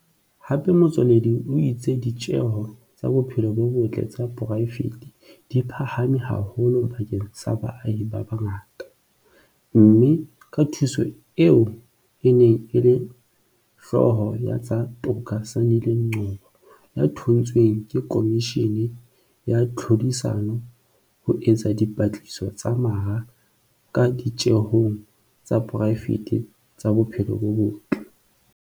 Hape Motsoaledi o itse di tjeho tsa bophelo bo botle tsa poraefete di phahame haholo bakeng sa baahi ba bangata, mme ka thuso ya eo e neng e le Hlooho ya tsa Toka Sandile Ngcobo ya thontsweng ke Khomishini ya Tlhodisano ho etsa dipatlisiso tsa mara ka ditjehong tsa poraefete tsa bophelo bo botle.